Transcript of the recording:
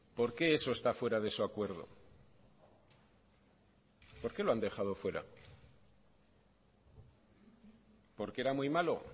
por qué eso está fuera de su acuerdo por qué lo han dejado fuera porque era muy malo